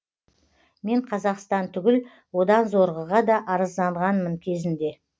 мен қазақстан түгіл одан зорғыға да арызданғанмын кезінде